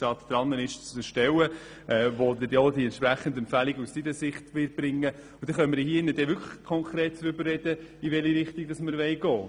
Dann haben wir auch eine Grundlage mit den Empfehlungen des Regierungsrats und können konkret darüber sprechen, in welche Richtung wir gehen möchten.